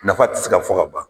Nafa tɛ se ka fɔ ka ban.